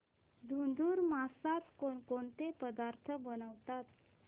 धुंधुर मासात कोणकोणते पदार्थ बनवतात